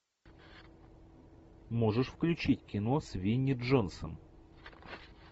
можешь включить кино с винни джонсом